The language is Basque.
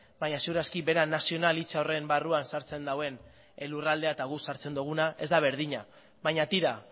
baina seguraski bera nazionalitza horren barruan sartzen duen lurraldea eta guk sartzen duguna ez da berdina baina tira